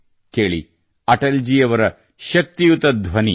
ಕೇಳಿ ಅಟಲ್ ಜಿ ಅವರ ಶಕ್ತಿಯುತ ಧ್ವನಿ